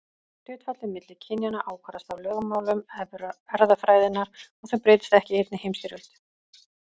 Hlutfallið milli kynjanna ákvarðast af lögmálum erfðafræðinnar og þau breytast ekki í einni heimstyrjöld.